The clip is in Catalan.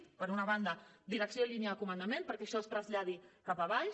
d’una banda direcció i línia de comandament perquè això es traslladi cap a baix